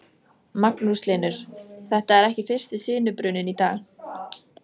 Magnús Hlynur: Þetta er ekki fyrsti sinubruninn í dag?